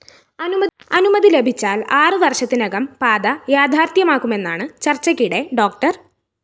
അനുമതി ലഭിച്ചാല്‍ ആറ് വര്‍ഷത്തിനകം പാത യാഥാര്‍ഥ്യമാകുമെന്നാണ് ചര്‍ച്ചയ്ക്കിടെ ഡോ